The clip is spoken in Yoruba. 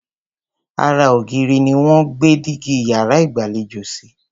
Ara ògiri ni wọ́n gbé dígí yàrá ìgbàlejò sí.